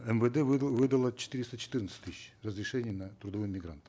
мвд выдало четыреста четырнадцать тысяч разрешений на трудового мигранта